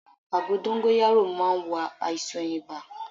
Àgbo dóngóyárò má n wo àìsàn ibà